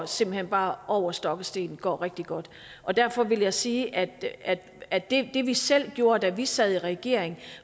simpelt hen bare går over stok og sten går rigtig godt derfor vil jeg sige at at det det vi selv gjorde da vi sad i regering